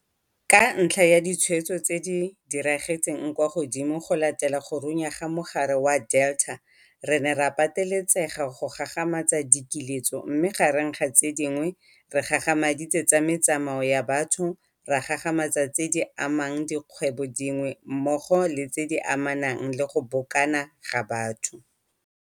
Ka ntlha ya ditshwaetso tse diragetseng kwa godimo go latela go runya ga mogare wa Delta re ne ra pateletsega go gagamatsa dikiletso mme gareng ga tse dingwe re gagamaditse tsa metsamao ya batho, ra gagamatsa tse di amang dikgwebong dingwe mmogo le tse di amanang le go bokana ga batho.